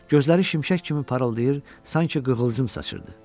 Gözləri şimşək kimi parıldayır, sanki qığılcım saçırdı.